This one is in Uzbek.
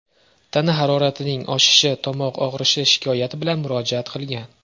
tana haroratining oshishi, tomoq og‘rishi shikoyati bilan murojaat qilgan.